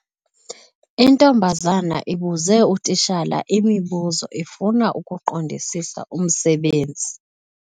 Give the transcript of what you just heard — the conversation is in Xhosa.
Intombazana ibuze utitshala imibuzo ifuna ukuqondisisa umsebenzi.